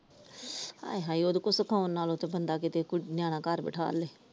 ਆਏ ਹਾਏ ਉਹਦੇ ਕੋਲੋਂ ਸਿਖੌਣ ਨਾਲੋਂ ਤਾ ਬੰਦਾ ਕੀਤੇ ਕੋਈ ਨਿਆਣਾ ਘਰ ਬਿਠਾ ਲਵੇ ।